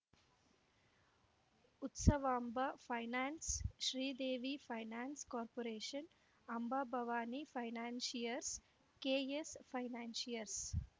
Utsavamba finance Sridevi finance corporation Ambabhavani financiers KS financiers